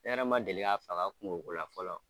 Hɛrɛ ma deli ka faga kungokola fɔlɔ.